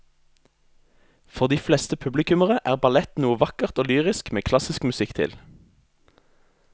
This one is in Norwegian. For de fleste publikummere er ballett noe vakkert og lyrisk med klassisk musikk til.